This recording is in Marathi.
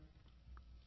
फोन कॉल समाप्त